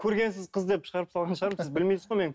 көргенсіз қыз деп шығарып салған шығармын сіз білмейсіз ғой мені